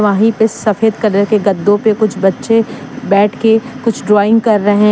वहीं पे सफेद कलर के गद्दों पे कुछ बच्चे बैठ के कुछ ड्राइंग कर रहे हैं।